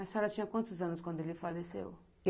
A senhora tinha quantos anos quando ele faleceu?